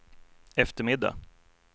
eftermiddag